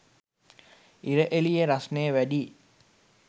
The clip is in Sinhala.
ඉර එළිය රස්නෙ වැඩියි